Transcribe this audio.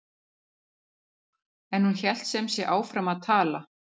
En hún hélt sem sé áfram að tala